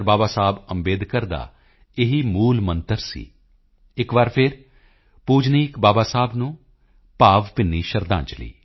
ਬਾਬਾ ਸਾਹਿਬ ਅੰਬੇਡਕਰ ਦਾ ਇਹੀ ਮੂਲਮੰਤਰ ਸੀ ਇੱਕ ਵਾਰ ਫਿਰ ਪੂਜਨੀਕ ਬਾਬਾ ਸਾਹਿਬ ਨੂੰ ਭਾਵਭਿੰਨੀ ਸ਼ਰਧਾਂਜਲੀ